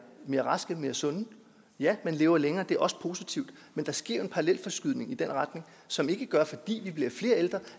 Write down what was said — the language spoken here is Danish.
mere raske mere sunde ja man lever længere og det er også positivt men der sker en parallelforskydning i den retning som ikke gør at fordi vi bliver flere ældre